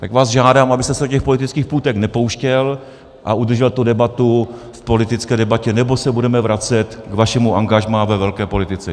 Tak vás žádám, abyste se do těch politických půtek nepouštěl a udržel tu debatu v politické debatě, nebo se budeme vracet k vašemu angažmá ve velké politice.